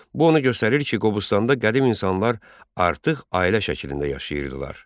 Bu onu göstərir ki, Qobustanda qədim insanlar artıq ailə şəklində yaşayırdılar.